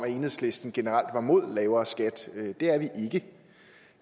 enhedslisten generelt er imod lavere skat det